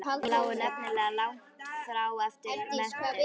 Hugsanir mínar lágu nefnilega langt frá allri menntun.